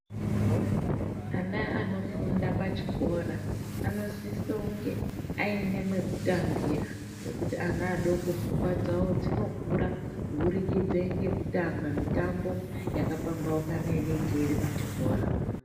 Ana anofunda pachikora anosise kunge aine pekutambira ngekuti ana adoko pfungwa dzawo dzinokura kubudikidza ngekutamba mitambo yakapambaukana inenge iri pachikora.